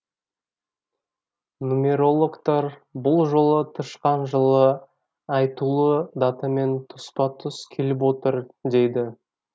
нумерологтар бұл жолы тышқан жылы айтулы датамен тұспа тұс келіп отыр дейді